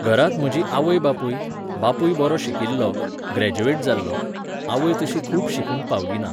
घरांत म्हजीं आवय बापूय, बापूय बरो शिकिल्लो, ग्रॅज्युएट जाल्लो, आवय तशी खूब शिकूंक पावली ना.